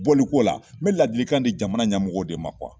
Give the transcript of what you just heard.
Bɔliko la n bɛ ladilikan di jamana ɲɛmɔgɔw de ma